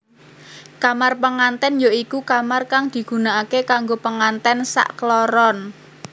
Kamar pengantèn ya iku kamar kang digunakaké kanggo pengantén sakkloron